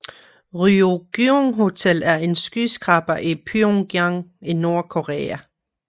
Ryugyong Hotel er en skyskraber i Pyongyang i Nordkorea